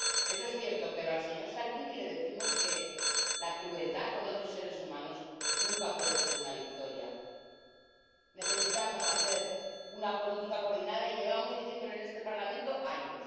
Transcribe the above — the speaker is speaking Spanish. Eso es cierto, pero al señor Salvini le decimos que la crueldad con otros seres humanos nunca puede ser una victoria. Necesitamos hacer una política coordinada, y llevamos diciéndolo en este Parlamento años.